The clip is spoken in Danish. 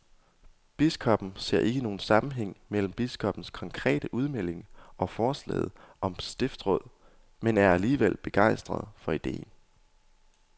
Biskoppen ser ikke nogen sammenhæng mellem biskoppernes konkrete udmelding og forslaget om stiftsråd, men er alligevel begejstret for ideen.